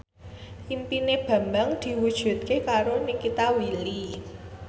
impine Bambang diwujudke karo Nikita Willy